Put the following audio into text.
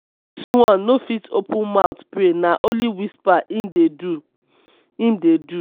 dis one no fit open mout pray na only whisper im dey do. im dey do.